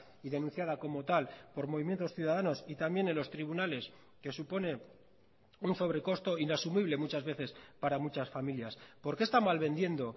y denunciada como tal por movimientos ciudadanos y también en los tribunales que supone un sobrecosto inasumible muchas veces para muchas familias por qué está malvendiendo